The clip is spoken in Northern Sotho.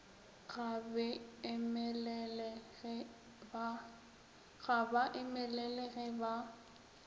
ga ba emelele ge ba